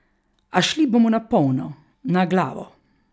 A šli bomo na polno, na glavo.